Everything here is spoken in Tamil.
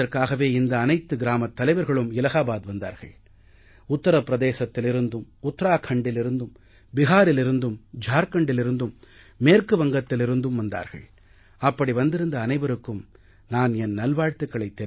சபதமேற்பதற்காகவே இந்த அனைத்து கிராமத் தலைவர்களும் இலாஹாபாத் வந்தார்கள் உத்தர பிரதேசத்திலிருந்தும் உத்தராக்கண்டிலிருந்தும் பீஹாரிலிருந்தும் ஜார்க்கண்டிலிருந்தும் மேற்கு வங்கத்திலிருந்தும் வந்தார்கள் அப்படி வந்திருந்த அனைவருக்கும் நான் என் நல்வாழ்த்துக்களைத்